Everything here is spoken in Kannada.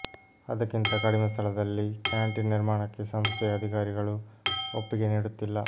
ಅದಕ್ಕಿಂತ ಕಡಿಮೆ ಸ್ಥಳದಲ್ಲಿ ಕ್ಯಾಂಟೀನ್ ನಿರ್ಮಾಣಕ್ಕೆ ಸಂಸ್ಥೆಯ ಅಧಿಕಾರಿಗಳು ಒಪ್ಪಿಗೆ ನೀಡುತ್ತಿಲ್ಲ